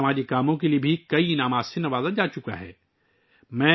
انہیں سماجی کاموں پر کئی ایوارڈز سے بھی نوازا جا چکا ہے